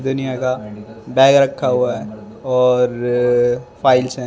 का बैग रखा हुआ है और फाइल्स है।